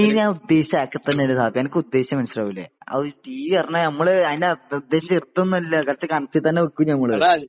T V എന്ന് ഞാന് ഉദ്ദേശിച്ചേ അതൊക്കെ തന്നെയല്ലേ ഷാഫി ? അനക്ക് ഉദ്ദേശിച്ചെ മനസ്സിലാകൂലെ അതൊരു ടി വി പറഞ്ഞാല് നമ്മള് ഉദ്ദേശിച്ചേ അത്ര ചെറുതൊന്നും അല്ല കുറച്ച് കനത്തില് തന്നെ വെക്കും നമ്മള്